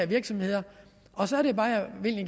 virksomheder og så er det bare